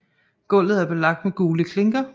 Gulvet er belagt med gule klinker